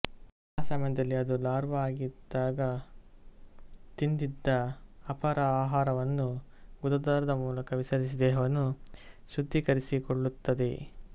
ಆ ಸಮಯದಲ್ಲಿ ಅದು ಲಾರ್ವಾ ಆಗಿದ್ದಾಗ ತಿಂದಿದ್ದ ಅಪಾರ ಆಹಾರವನ್ನು ಗುದದ್ವಾರದ ಮೂಲಕ ವಿಸರ್ಜಿಸಿ ದೇಹವನ್ನು ಶುದ್ಧೀಕರಿಸಿಕೊಳ್ಳುತ್ತದೆ